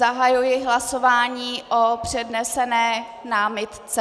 Zahajuji hlasování o přednesené námitce .